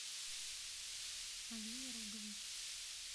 алине роговой